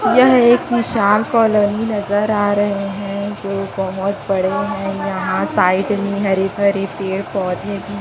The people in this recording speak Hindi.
यह एक निशान कॉलोनी नजर आ रहे है जो बहोत बड़े हैं यहां साइड में हरे भरे पेड़ पौधे भी--